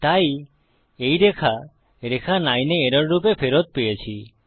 তাই এই রেখা রেখা 9 এ এরর রূপে ফেরত পেয়েছি